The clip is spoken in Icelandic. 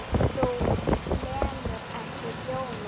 Þú lemur ekki ljónið.